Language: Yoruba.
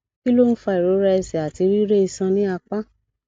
kí ló ń fa ìrora ẹsẹ àti rire isan ni apa